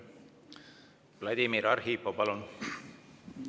Vladimir Arhipov, palun!